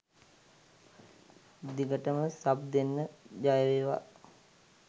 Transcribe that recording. දිගටම සබ් දෙන්න ජයවේවා.